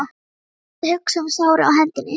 Hann reyndi að hugsa um sárið á hendinni.